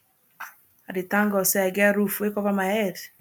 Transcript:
i dey thank God sey i get roof wey cover my head